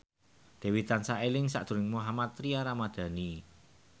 Dewi tansah eling sakjroning Mohammad Tria Ramadhani